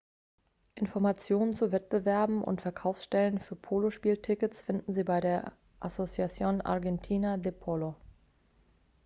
informationen zu wettbewerben und verkaufsstellen für polospieltickets finden sie bei der asociacion argentina de polo